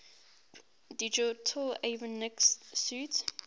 digital avionics suite